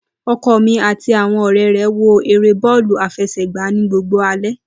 Oko mí àti àwon òré re wo èrè bọọlu afesegba ni gbogbo alé